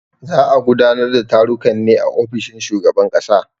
Za a gudanar da tarukan ne a ofishin shugaban kasa.